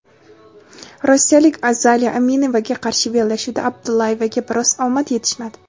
rossiyalik Azaliya Aminevaga qarshi bellashuvda Abdullayevaga biroz omad yetishmadi.